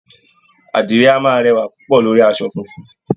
Àdìrẹ a máa rẹwà púpọ̀ lórí asọ funfun